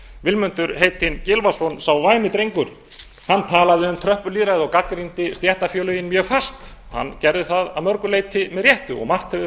vilmundur heitinn gylfason sá væni drengur talaði um tröppulýðræði og gagnrýndi stéttarfélögin mjög fast hann gerði það að mörgu leyti með réttu og margt hefur færst